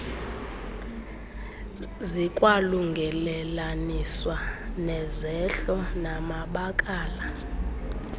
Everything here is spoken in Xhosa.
zikwalungelelaniswa nezehlo namabakala